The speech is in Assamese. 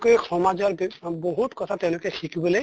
কে সমাজৰ বি বহুত কথা তেওঁলোকে শিকিবলৈ